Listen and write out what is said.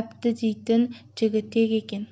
әбді дейтін жігітек екен